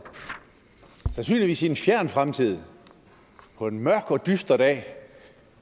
sandsynligvis i en fjern fremtid på en meget dyster dag